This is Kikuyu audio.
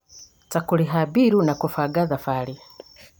ta kũrĩha mbiirũ na kũbanga thabarĩ